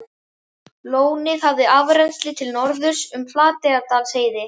Lónið hafði afrennsli til norðurs um Flateyjardalsheiði.